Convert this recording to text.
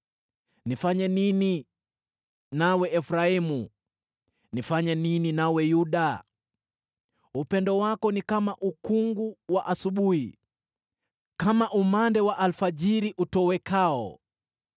“Nifanye nini nawe, Efraimu? Nifanye nini nawe, Yuda? Upendo wako ni kama ukungu wa asubuhi, kama umande wa alfajiri utowekao.